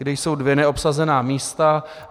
Tam jsou dvě neobsazená místa.